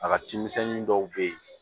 A ka cimisɛnnin dɔw bɛ yen